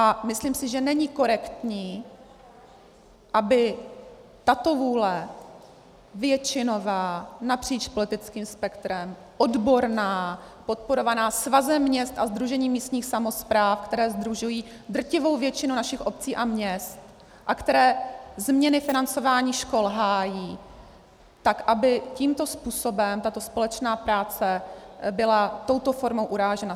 A myslím si, že není korektní, aby tato vůle většinová, napříč politickým spektrem, odborná, podporovaná Svazem měst a Sdružením místních samospráv, které sdružují drtivou většinu našich obcí a měst a které změny financování škol hájí, tak aby tímto způsobem tato společná práce byla touto formou urážena.